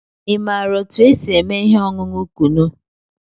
Ị maara otú e si eme ihe ọṅụṅụ Kunu?